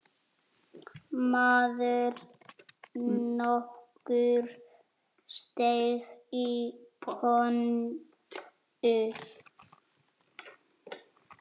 Maður nokkur steig í pontu.